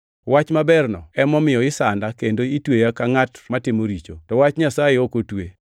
Wach maberno emomiyo isanda kendo itweya ka ngʼat matimo richo. To wach Nyasaye ok otwe.